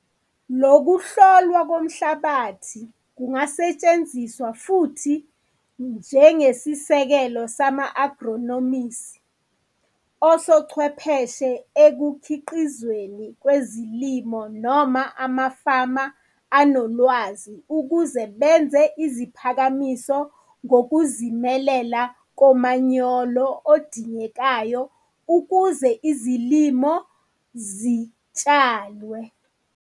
Lokuhlolwa komhlabathi kungasetshenziswa futhi njengesisekelo sama-agronomisi, osochwepheshe ekukhiqizweni kwezilimo noma amafama anolwazi ukuze benze iziphakamiso ngokuzimelela komanyolo odingekayo ukuze izilimo zitshalwe.